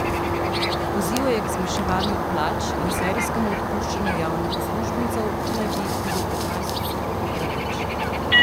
Pozival je k zmanjševanju plač in serijskemu odpuščanju javnih uslužbencev, ki naj bi jih bilo petnajst odstotkov preveč.